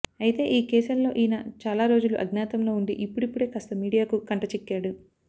అయితే ఈ కేసులలో ఈయన చాలా రోజులు అజ్ఞాతంలో ఉండి ఇప్పుడిప్పుడే కాస్త మీడియాకు కంటచిక్కాడు